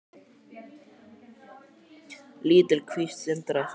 Lítil kvísl sindraði í sólinni.